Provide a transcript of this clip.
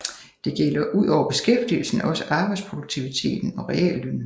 Det gælder udover beskæftigelsen også arbejdsproduktiviteten og reallønnen